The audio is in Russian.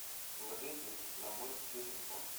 положи денег на мой телефон